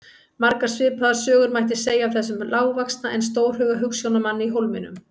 Margar svipaðar sögur mætti segja af þessum lágvaxna en stórhuga hugsjónamanni í Hólminum.